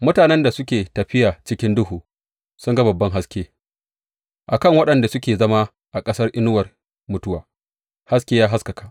Mutanen da suke tafiya cikin duhu sun ga babban haske; a kan waɗanda suke zama a ƙasar inuwar mutuwa haske ya haskaka.